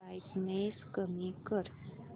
brightness कमी कर